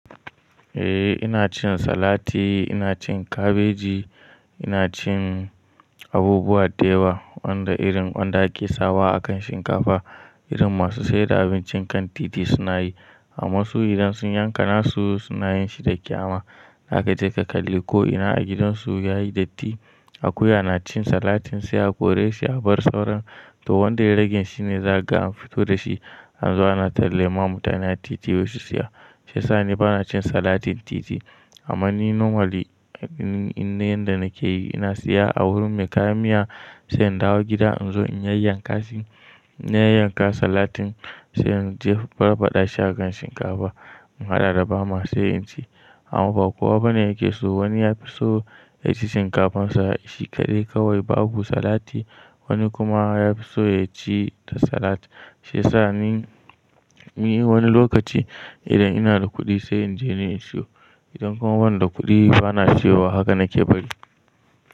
Eh ina cin salati, ina cin kabeji, ina cin abubuwa dayawa, wanda irin wanda ake sawa akan shinkafa irin masu saida abincin kan titi suna yi. Amma su idan sun yanka nasu, suna yin shi da kyama. Haka dai ka kalli ko'ina a gidansu yayi datti akuya na cin salatin sai a kore shi a bar sauran. To wanda ya rage shine za ka ga an fito da shi an zo ana tallama mutane a titi ya bashi siya. Shi yasa ni bana cin salatin titi. Amma ni normally yanda nake yi ina siya a wurin mai kayan miya sai in dawo gida in zo in yanyanka salatin sayan in je in barbaɗa shi akan shinkafa. In haɗa da bama sai in ci. Amma ba kowa bane yake so. Wani ya fi so ya ci shinkafan sa salad shi kaɗai kawai babu salati. Wani kuma ya fi so ya ci da salat. Shi yasa ni wani lokaci idan ina da kuɗi sai in je ni in siyo. Idan kuma bana da kuɗi bana ciyawa. Haka na ke bari.